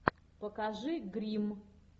покажи гримм